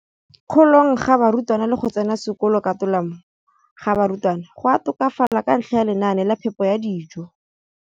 kolong ga barutwana le go tsena sekolo ka tolamo ga barutwana go a tokafala ka ntlha ya lenaane la phepo ya dijo.